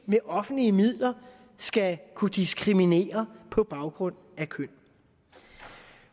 med offentlige midler skal kunne diskriminere på baggrund af køn